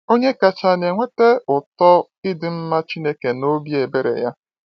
Onye kachaa na-enweta ụtọ ịdị mma Chineke na obi ebere ya?